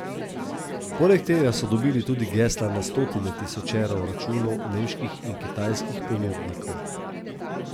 Poleg tega so dobili tudi gesla na stotine tisočev računov nemških in kitajskih ponudnikov.